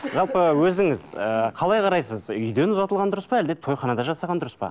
жалпы өзіңіз ііі қалай қарайсыз үйден ұзатылған дұрыс па әлде тойханада жасаған дұрыс па